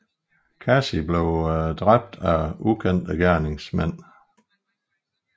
Kasi blev dræbt af ukendte gerningsmænd